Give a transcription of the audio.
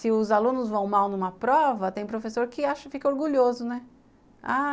Se os alunos vão mal numa prova, tem professor que acha, fica orgulhoso, né?